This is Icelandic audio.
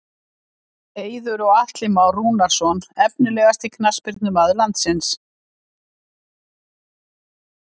Eiður og Atli Már Rúnarsson Efnilegasti knattspyrnumaður landsins?